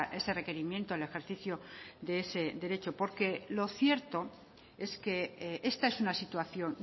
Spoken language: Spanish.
ese requerimiento el ejercicio de ese derecho porque lo cierto es que esta es una situación